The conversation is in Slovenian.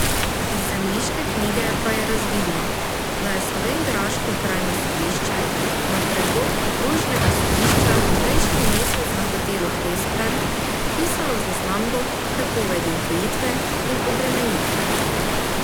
Iz zemljiške knjige pa je razvidno, da je slovenjgraško okrajno sodišče na predlog okrožnega sodišča prejšnji mesec na hotelu Hesper vpisalo zaznambo prepovedi odtujitve in obremenitve.